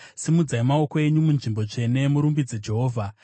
Simudzai maoko enyu munzvimbo tsvene, murumbidze Jehovha.